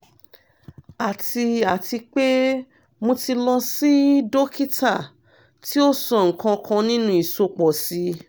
ati ati pe mo ti lọ si dokita ti o sọ nkankan ninu isopọ si